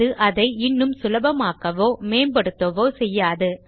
அது அதை இன்னும் சுலபமாக்கவோ மேம்படுத்தவோ செய்யாது